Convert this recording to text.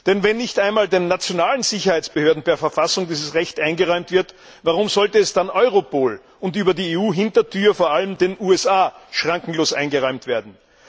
Denn wenn nicht einmal den nationalen Sicherheitsbehörden per Verfassung dieses Recht eingeräumt wird, warum sollte es dann Europol und über die EU Hintertür vor allem den USA schrankenlos eingeräumt werden?